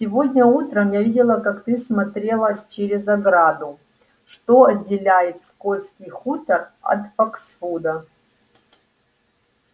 сегодня утром я видела как ты смотрелась через ограду что отделяет скотский хутор от фоксвуда